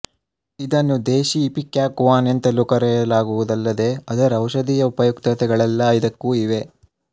ಇದನ್ನು ದೇಶೀ ಇಪಿಕ್ಯಾಕುವಾನ ಎಂತಲೂ ಕರೆಯಲಾಗುವುದಲ್ಲದೆ ಅದರ ಔಷಧೀಯ ಉಪಯುಕ್ತತೆಗಳೆಲ್ಲ ಇದಕ್ಕೂ ಇವೆ